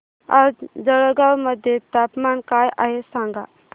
आज जळगाव मध्ये तापमान काय आहे सांगा